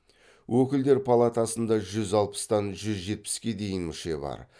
өкілдер палатасында жүз алпыстан жүз жетпіске дейін мүше бар